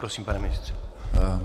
Prosím, pane ministře.